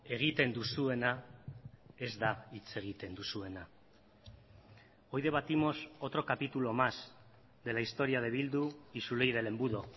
egiten duzuena ez da hitz egiten duzuena hoy debatimos otro capítulo más de la historia de bildu y su ley del embudo